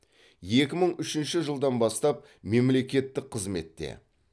екі мың үшінші жылдан бастап мемлекеттік қызметте